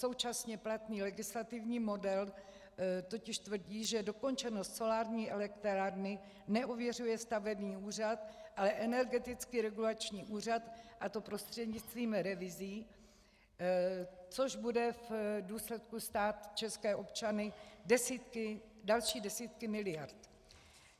Současně platný legislativní model totiž tvrdí, že dokončenost solární elektrárny neověřuje stavební úřad, ale Energetický regulační úřad, a to prostřednictvím revizí, což bude v důsledku stát české občany další desítky miliard.